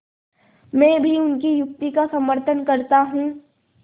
मैं भी उनकी युक्ति का समर्थन करता हूँ